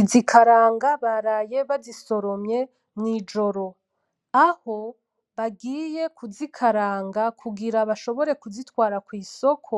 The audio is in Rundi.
Izi karanga baraye bazisoromye mw’ijoro. Aho, bagiye kuzikaranga kugira bashobore kuzitwara kw’isoko,